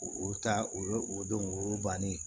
O ta o ye o don o y'o bannen ye